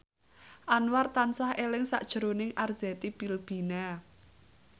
Anwar tansah eling sakjroning Arzetti Bilbina